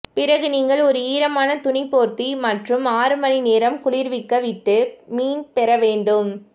பிறகு நீங்கள் ஒரு ஈரமான துணி போர்த்தி மற்றும் ஆறு மணி நேரம் குளிர்விக்க விட்டு மீன் பெற வேண்டும்